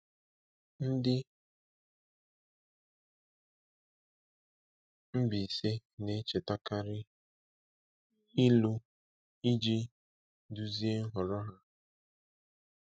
Ndị Mbaise na-echetakarị ilu iji duzie nhọrọ ha.